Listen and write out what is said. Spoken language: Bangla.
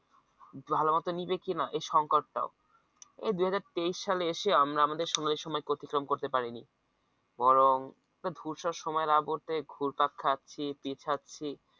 ভালোমতো নিবে কিনা এই সংকট টা ও এই দুই হাজার তেইশ সালে এসে আমরা আমাদের সময় সময়কে অতিক্রম করতে পারিনি বরং ধূসর সময়ের আবর্তে ঘুরপাক খাচ্ছে পিছাছি